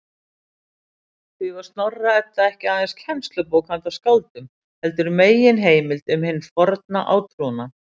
Því var Snorra-Edda ekki aðeins kennslubók handa skáldum, heldur og meginheimild um hinn forna átrúnað.